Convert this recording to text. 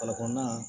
kɔnɔna